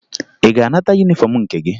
Ị ga-anata yunifọmụ nke gị?